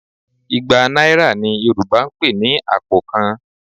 Igba náírà ni Yorùbá ń pè ní àpò kan